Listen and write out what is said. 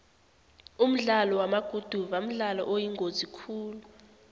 umdlalo wamaguduva mdlalo oyingozi khulu